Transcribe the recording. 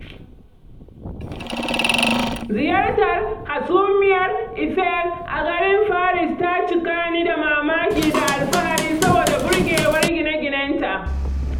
Ziyartar Hasumiyar Eiffel a garin Paris ta cika ni da mamaki da alfahari saboda burgewar gine-ginenta.